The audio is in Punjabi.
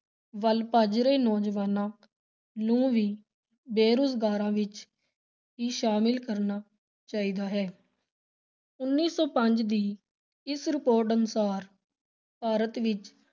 ਵਲ ਭੱਜ ਰਹੇ ਨੌਜਵਾਨਾਂ ਨੂੰ ਵੀ ਬੇਰੁਜ਼ਗਾਰਾਂ ਵਿਚ ਹੀ ਸ਼ਾਮਿਲ ਕਰਨਾ ਚਾਹੀਦਾ ਹੈ ਉੱਨੀ ਸੌ ਪੰਜ ਦੀ ਇਸ report ਅਨੁਸਾਰ ਭਾਰਤ ਵਿਚ